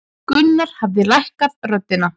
Gunnar hafði lækkað röddina.